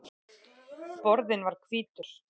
Borðinn var hvítur.